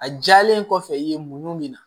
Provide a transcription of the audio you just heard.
A jalen kɔfɛ i ye mun minɛ